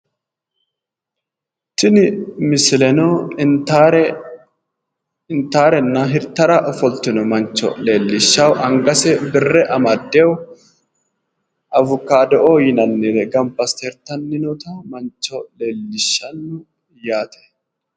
Tini misileno intaare intaarenna hirtara ofoltino mancho leellishshayo angase birre amaddeyo awukaado"oo yinannire gamba assite hirtanni noota mancho leellishshanno.